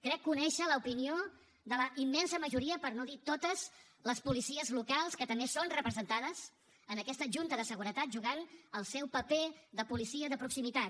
crec conèixer l’opinió de la immensa majoria per no dir totes les policies locals que també són representades en aquesta junta de seguretat jugant el seu paper de policia de proximitat